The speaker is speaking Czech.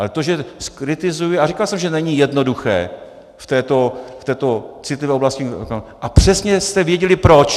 Ale to, že zkritizuji - a říkal jsem, že není jednoduché v této citlivé oblasti, a přesně jste věděli proč.